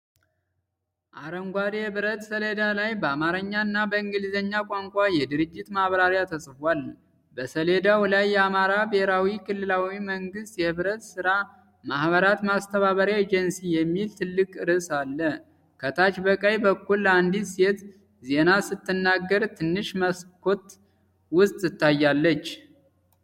አረንጓዴ የብረት ሰሌዳ ላይ በአማርኛ እና በእንግሊዝኛ ቋንቋ የድርጅት ማብራሪያ ተጽፏል። በሰሌዳው ላይ“የአማራ ብሔራዊ ክልላዊ መንግሥት የኅብረት ሥራ ማኅበራት ማስተባበሪያ ኤጀንሲ” የሚል ትልቅ ርዕስ አለ። ከታች በቀኝ በኩል አንዲት ሴት ዜና ስትናገር ትንሽ መስኮት ውስጥትታያለች።